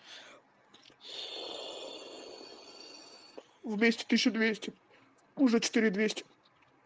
вместе тысячу двести уже четыре двести